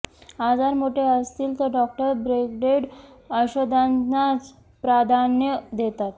आजार मोठे असतील तर डॉक्टर ब्रँडेड औषधांनाच प्राधान्य देतात